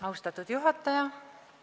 Austatud juhataja!